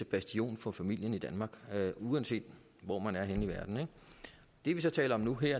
bastion for familien i danmark uanset hvor man er henne det vi så taler om nu er